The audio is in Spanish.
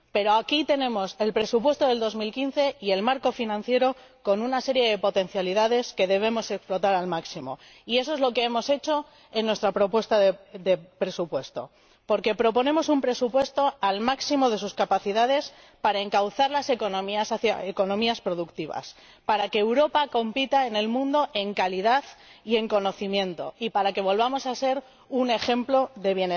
Pero aquí tenemos el presupuesto de 2015 y el marco financiero con una serie de potencialidades que debemos explotar al máximo, y eso es lo que hemos hecho en nuestro proyecto de presupuesto, porque proponemos un presupuesto al máximo de sus capacidades para encauzar las economías productivas, para que Europa compita en el mundo en calidad y en conocimiento, y para que volvamos a ser un ejemplo de